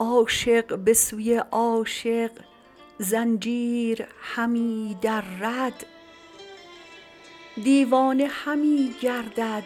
عاشق به سوی عاشق زنجیر همی درد دیوانه همی گردد